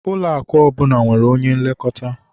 Ụlọakụ ọbụla nwere onye nlekọta